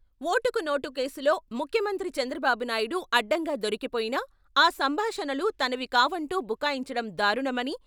ఓటుకు నోటు కేసులో ముఖ్యమంత్రి చంద్రబాబు నాయుడు అడ్డంగా దొరికిపోయినా, ఆ సంభాషణలు తనవి కావంటూ బుకాయించడం దారుణమని.